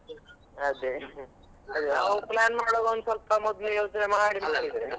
ಅದೇ ನಾವ್ plan ಮಾಡುವಾಗ ಒಂದ್ ಸ್ವಲ್ಪ ಮೊದ್ಲೇ ಯೋಚ್ನೆ ಮಾಡಿದ್ರೆ